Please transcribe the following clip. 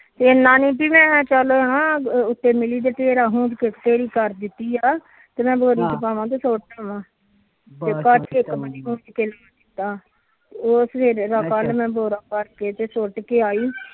ਇਨਾ ਨੀ ਸੀ ਮੈ ਚੱਲ ਕਰ ਦਿੱਤੀ ਆ ਤੇ ਮੈ ਬੋਰੀ ਚ ਪਾਮਾ ਤੇ ਸੁਟ ਉਹ ਸਵੇਰੇ ਕੱਲ ਸੁਟ ਕੇ ਆਈ